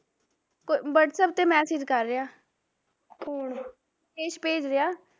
ਕੋਈ whatsapp ਤੇ message ਕਰ ਰਿਹਾ ਸੰਦੇਸ਼ ਭੇਜ ਰਿਹਾ